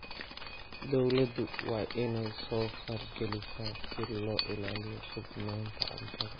Dawladdu waa inay soo faragelisaa si loo ilaaliyo sugnaanta cuntada.